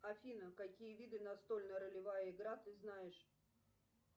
афина какие виды настольная ролевая игра ты знаешь